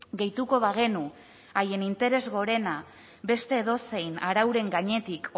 gehituko bagenu haien interes gorena beste edozein arauren gainetik